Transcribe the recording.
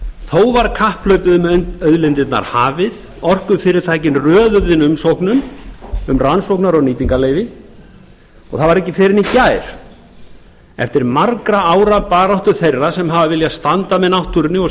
þó var kapphlaupið um auðlindirnar hafið orkufyrirtækin röðuðu inn umsóknum um rannsókna og nýtingarleyfi það var ekki fyrr en í gær eftir margra ára baráttu þeirra sem hafa viljað standa með náttúrunni og